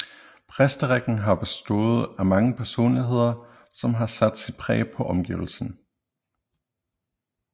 Præsterækken har bestået af mange personligheder som har sat sit præg på omgivelsene